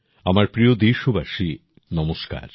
আমার প্রিয় দেশবাসী নমস্কার